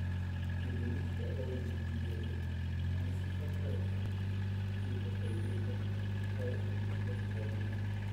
Ithimo cia ũgima wa mwĩrĩ nĩ cibatarĩkanaga ihinda kwa ihinda harĩ agucia a thigara.